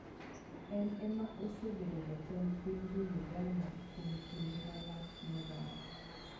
En ema osebedo jatend piny jouganda kuom kinde malach moloyo.